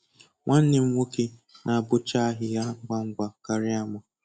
Nwanne m nwoke na-abọcha ahịhịa ngwa ngwa karịa m.